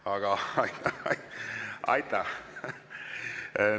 Aga aitäh!